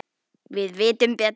Við vitum betur